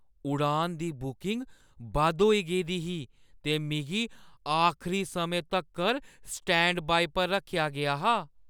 उड़ान दी बुकिंग बद्ध होई गेदी ही ते मिगी आखरी समें तक्कर स्टैंडबाई पर रक्खेआ गेआ हा।